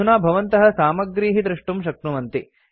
अधुना भवन्तः सामग्रीः द्रष्टुं शक्नुवन्ति